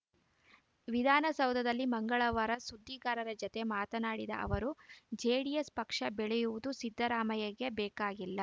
ವಿಧಾನಸೌಧದಲ್ಲಿ ಮಂಗಳವಾರ ಸುದ್ದಿಗಾರರ ಜತೆ ಮಾತನಾಡಿದ ಅವರು ಜೆಡಿಎಸ್‌ ಪಕ್ಷ ಬೆಳೆಯುವುದು ಸಿದ್ದರಾಮಯ್ಯಗೆ ಬೇಕಾಗಿಲ್ಲ